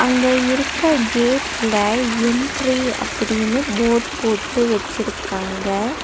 அங்க இருக்க கேட்ல என்ட்ரி அப்படின்னு போட் போட்டு வெச்சிருக்காங்க.